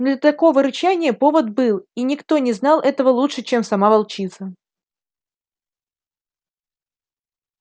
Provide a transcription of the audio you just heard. но для такого рычания повод был и никто не знал этого лучше чем сама волчица